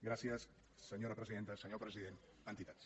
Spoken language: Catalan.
gràcies senyora presidenta senyor president entitats